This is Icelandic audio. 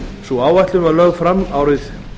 sú áætlun var lögð fram árið